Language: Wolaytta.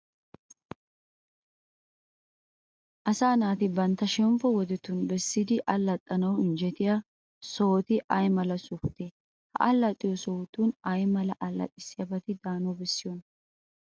Asaa naati bantta shemppo wodetun beside allaxxanawu injjetiya sohoti ay mala sohotee? Ha allaxxiyo sohotun ay mala allaxxissiyabati de'anawu bessiyonaa?